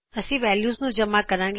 ਅਸੀ ਵੈਲਯੂਜ਼ ਨੂੰ ਜਮਾ ਕਰਾਗੇ